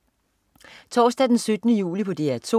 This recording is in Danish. Torsdag den 17. juli - DR 2: